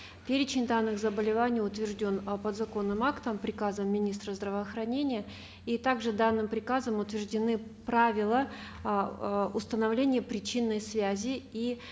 перечень данных заболеваний утвержден э подзаконным актом приказом министра здравоохранения и также данным приказом утверждены правила эээ установления причинной связи и